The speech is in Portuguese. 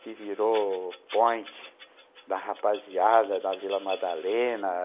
que virou point da rapaziada da Vila Madalena.